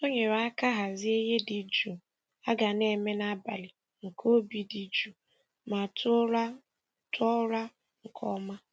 O nyere aka hazie ihe dị jụụ a ga na-eme n'abalị nke obi dị jụụ ma tụọ ụra tụọ ụra nke ọma.